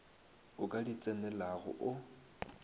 o ka di tsenelago o